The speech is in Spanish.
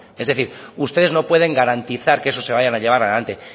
es decir ustedes no pueden garantizar que eso se vaya a llevar adelante